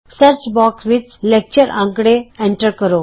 search box ਵਿਚ lecture ਅੰਕੜੇ enter ਕਰੋ